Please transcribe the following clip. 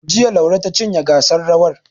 Jiya, Laure ta cinye gasar rawar.